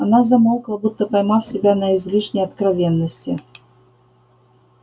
она замолкла будто поймав себя на излишней откровенности